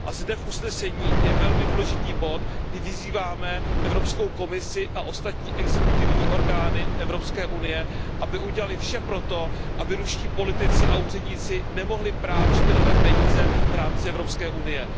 Zde v usnesení je velmi důležitý bod, kdy vyzýváme Evropskou komisi a ostatní exekutivní orgány Evropské unie, aby udělaly vše pro to, aby ruští politici a úředníci nemohli prát špinavé peníze v rámci Evropské unie.